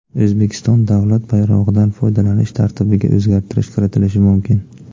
O‘zbekiston davlat bayrog‘idan foydalanish tartibiga o‘zgartirish kiritilishi mumkin.